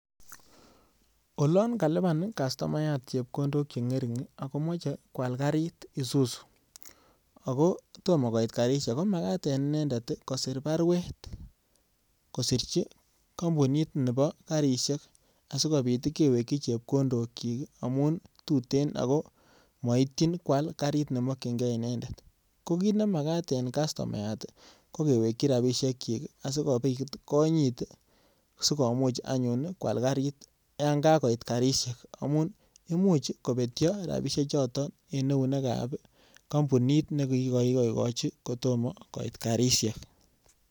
Olon kaluban kastomayat chepkondok chengeting agomoche kwal karit Isuzu, ago tomokoit karisiek Isuzu, kimagat en inendet kosir baruet kosirchi kampunit nebo karisiek asigopit kewekyi chepkondokyik amun tuten ago maityin kwal karit nemakyinge inendet. Ko kit nemagat en kastomayat ko kewekyi rapisiekyik asigopit konyit sikomuch anyun kwal karit yon kakoit karisiek amun imuch kobetyo rapisiechoto eneunekab kampunit nekigoigochi kotomo koit karisiek.